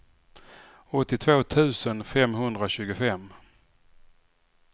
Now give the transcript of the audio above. åttiotvå tusen femhundratjugofem